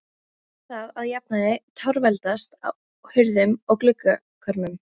Var það að jafnaði torveldast á hurðum og gluggakörmum.